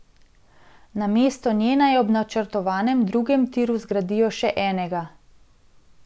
Namesto nje naj ob načrtovanem drugem tiru zgradijo še enega.